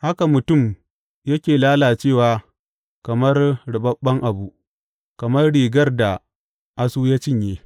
Haka mutum yake lalacewa kamar ruɓaɓɓen abu, kamar rigar da asu ya cinye.